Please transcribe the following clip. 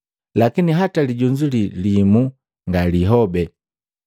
Lakini hata lijunzu li limu ngalihobe.